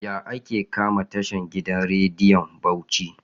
Yaya ake kama tashan gidan rediyon Bauci?